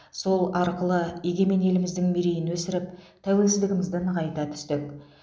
сол арқылы егемен еліміздің мерейін өсіріп тәуелсіздігімізді нығайта түстік